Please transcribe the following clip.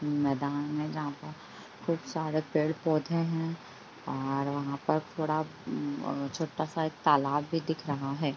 मैदान है जहाँ पर खूबसारे पेड़-पौधे है और वहाँ पर तालाब भी दिख रहा है।